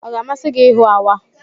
Ọ ga-amasị gị ịhụ awa?